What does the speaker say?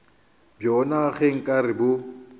bjona ge nka re bo